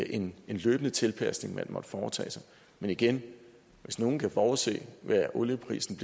en løbende tilpasning man måtte foretage sig men igen hvis nogen kunne forudse hvad olieprisen